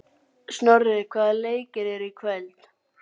Snorri, hvaða leikir eru í kvöld?